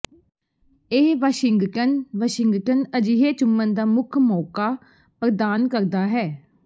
ਇਹ Washington Washington ਅਜਿਹੇ ਚੁੰਮਣ ਦਾ ਮੁੱਖ ਮੌਕਾ ਪ੍ਰਦਾਨ ਕਰਦਾ ਹੈ